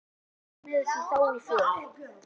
Við Hörður slógumst með í þá för.